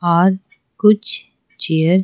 और कुछ चेयर --